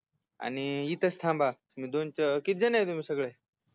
आणि इथेच थांबा दोनच किती जण तुम्ही सगळे